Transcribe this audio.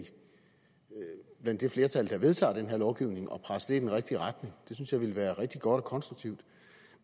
det det flertal der vedtager den lovgivning og presse det i den rigtige retning det synes jeg ville være rigtig godt og konstruktivt